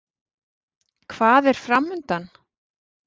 Hvað er framundan?